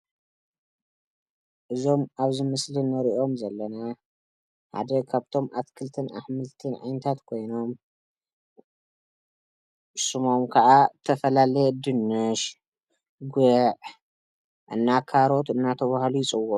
እዞም አብዚ ምስሊ እንሪኦም ዘለና ሓደ ካብቶም አትክልቲን አሕምልቲን ዓይነታት ኮይኖም፤ ሽሞም ከዓ ተፈላለየ ድንሽ፣ ጉዕ እና ካሮት እናተብሃሉ ይፅውዑ፡፡